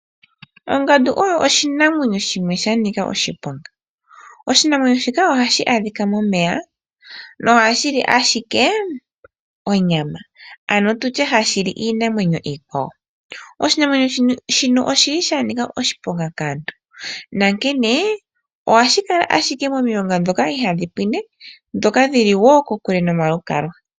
Ongandu oyo oshinamwenyo shimwe shanika oshiponga. Oshinamwenyo shika hashi andhika momeya ohashili ashike onyama ano tutye hashili iinamwenyo iikwawo, oshinamwenyo shino oshili sha nika oshiponga kaantu na nkene ohashi kala ashike momilonga dhoka ihaa ndhi pwine ndhoka ndhili woo kokule nomalukalwa.